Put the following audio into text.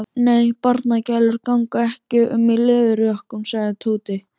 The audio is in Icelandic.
Nei, barnagælur ganga ekki um í leðurjökkum sagði Tóti.